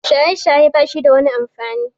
Shaye-shaye bashida wani amfani.